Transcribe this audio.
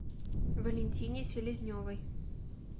валентине селезневой